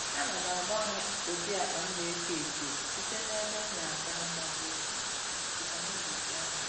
Ana m agbanwe ụdị akpa m na-eko eko site n'ebe m na-aga maọbụ otu si nwe mmetụta n'ụbọchị ahụ